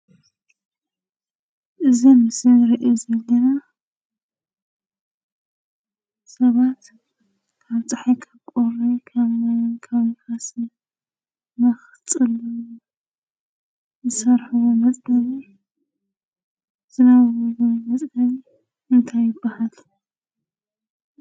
እዚ ኣብ ምስሊ እንርእዮ ዘለና ሰባት ካብ ፀሓይ፣ ካብ ቁሪ፣ ካበ ማይን ንፋስን ንክፅልሉ ዝሰርሕዎ መፅለሊ ዝነብርሉ ኮይኑ እዚ መፅለሊ እንታይ ይባሃል?